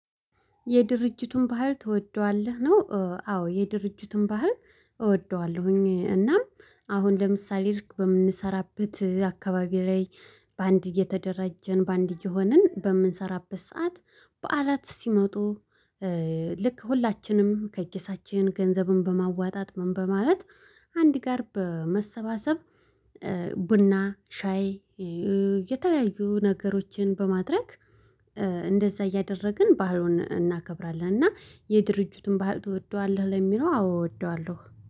የድርጅቱን ባህል ትወደዋለህ? ነው? አዎ የድርጅቱን ባህር እወደዋለሁኝ። እናም አሁን ለምሳሌ ልክ በምንሰራበት አካባቢ ላይ። በአንድ እየተደራጀን በአንድ እየሆንን በምንሰራበት ሰዓት በዓላት ሲመጡ። ልክ ሁላችንም ከኪሳችን ገንዘብን በማዋጣት ምን በማለት አንድ ጋር በመሰባሰብ። ቡና ሻይ የተለያዩ ነገሮችን በማድረግ። እንደዛ እያደረግን ባህሉን እናከብራለን። እና የድርጅቱን ባህል ትወደዋለሁ ለሚለው አዎ እወደዋለሁ